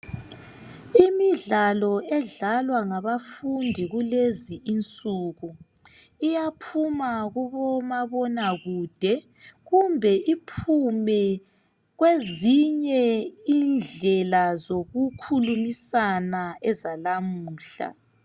Imidlalo edlalwa ngabafundi kulezi insuku iyaphuma kubomabona kude kumbe iphume kwezinye indlela zoku khulumisana ezalamuhla.